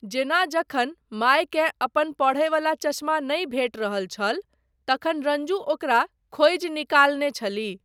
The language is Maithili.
जेना जखन मायकेँ अपन पढ़यवला चश्मा नहि भेटि रहल छल, तखन रंजू ओकरा खोजि निकालने छलीह।